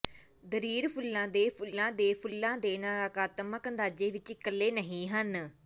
ਦਰਿਰ ਫੁੱਲਾਂ ਦੇ ਫੁੱਲਾਂ ਦੇ ਫੁੱਲਾਂ ਦੇ ਨਕਾਰਾਤਮਕ ਅੰਦਾਜ਼ੇ ਵਿਚ ਇਕੱਲੇ ਨਹੀਂ ਹਨ